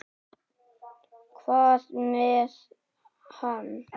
Hvað með hann?